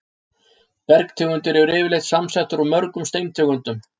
Bergtegundir eru yfirleitt samsettar úr mörgum steintegundum.